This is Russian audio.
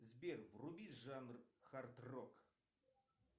сбер вруби жанр хард рок